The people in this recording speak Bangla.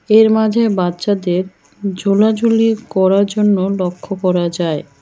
এর মাঝে বাচ্চাদের ঝোলাঝুলি করা জন্য লক্ষ করা যায়।